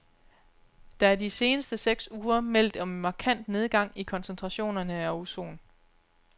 Der er de seneste seks uger meldt om markant nedgang i koncentrationerne af ozon.